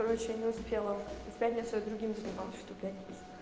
короче не успела в пятницу и с другими сдавала в ту пятницу